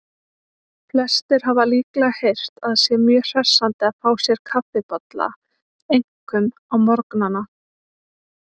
Flestir hafa líklega heyrt að sé mjög hressandi að fá sér kaffibolla, einkum á morgnana.